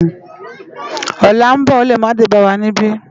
Òlá n bò ó lé má dé bá wá nibi